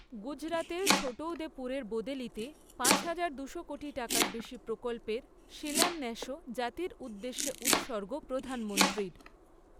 গুজরাতের ছোটৌদেপুরের বোদেলিতে পাঁচহাজার, দুশো কোটি টাকার বেশি প্রকল্পের শিলান্যাসও জাতির উদ্দেশ্যে উৎসর্গ প্রধানমন্ত্রীর